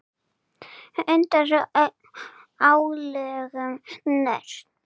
Undir álögum Norn!